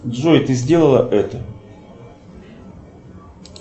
джой ты сделала это